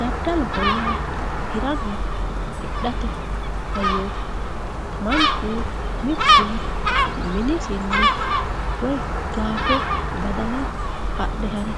Daddaloho yaa hirana hidhate hayyoti, manchu mitu minisinni woyi gashe, Badala adhe hare